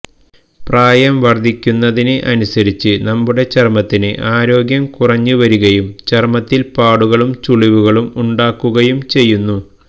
പ്രായം വർദ്ധിക്കുന്നതിന് അനുസരിച്ച് നമ്മുടെ ചർമ്മത്തിന് ആരോഗ്യം കുറഞ്ഞുവരികയും ചർമത്തിൽ പാടുകളും ചുളിവുകളും ഉണ്ടാക്കുകയും ചെയ്യുന്നു